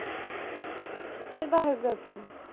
কিসের biography